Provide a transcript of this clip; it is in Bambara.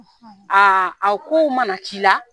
Aa a kow mana k'i la